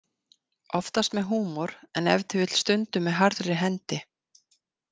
Oftast með húmor en ef til vill stundum með harðri hendi.